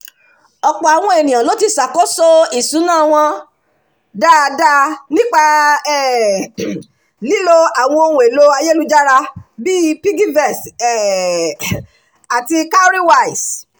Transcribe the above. ọ̀pọ̀ àwọn ènìyàn ló ti ṣàkóso ìṣúná wọn dáadáa nípa um lílo àwọn ohun-èlò ayélujára bíi piggyvest um àti cowrywise